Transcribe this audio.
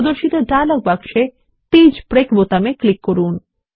প্রদর্শিত ডায়লগ বক্সে page break বোতামে ক্লিক করুন